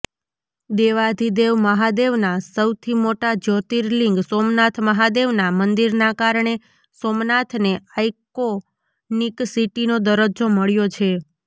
દેવાધિદેવ મહાદેવના સૌથી મોટા જ્યોર્તિલિંગ સોમનાથ મહાદેવના મંદિરના કારણે સોમનાથને આઇકોનિક સીટીનો દરજ્જો મળ્યો છે